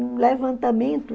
Um levantamento.